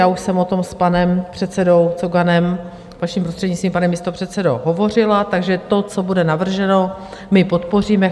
Já už jsem o tom s panem předsedou Coganem, vaším prostřednictvím, pane místopředsedo, hovořila, takže to, co bude navrženo, my podpoříme.